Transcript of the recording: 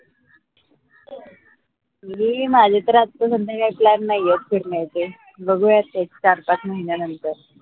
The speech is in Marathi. मी माझे तर आता सध्या काही plan नाही ए फिरन्याचे बघुयात एक चार, पाच महिन्यानंतर